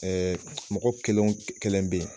Ɛɛ mɔgɔ kelen wo kelen be yen